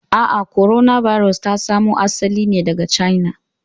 A'a, korona birus ta samo asali ne daga China.